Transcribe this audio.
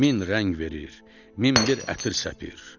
Min rəng verir, min bir ətir səpir.